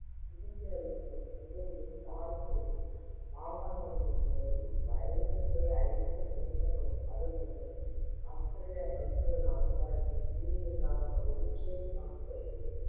சிகிச்சை அளிக்கும் ஒரு செவிலியர் வாகனங்களின் மூலம் virus ஐ அழிக்க செலுத்தப்படும் மருந்துகள் ஆஸ்திரேலிய பல்பொருள் அங்காடியில் பீதியின் காரணமாக வெறிச்சோடி காணப்படுகிறது